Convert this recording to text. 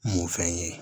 Mun fɛn ye